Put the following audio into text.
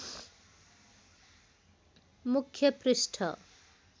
मुख्य पृष्ठ